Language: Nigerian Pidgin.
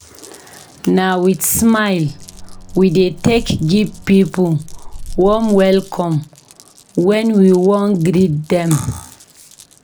Na wit smile we dey take give pipo warm welcome wen we wan greet dem.